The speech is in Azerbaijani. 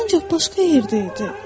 Ancaq başqa yerdə idi.